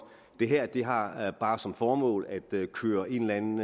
det her har har bare som formål at køre en eller anden